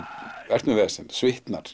ert með vesen